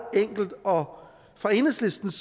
enkelt og fra enhedslistens